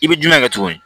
I bɛ jumɛn kɛ tuguni